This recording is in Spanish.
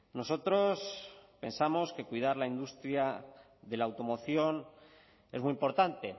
nosotros pensamos que cuidar la industria de la automoción es muy importante